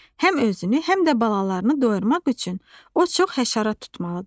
Həm özünü, həm də balalarını doyurmaq üçün o çox həşərat tutmalıdır.